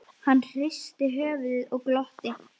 Hann hristi höfuðið og glotti.